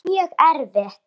Það er mjög erfitt.